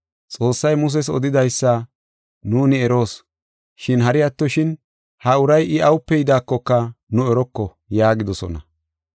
Xoossay Muses odidaysa nuuni eroos, shin hari attoshin ha uray I awupe yidaakoka nu eroko” yaagidosona.